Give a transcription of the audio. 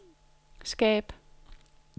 skab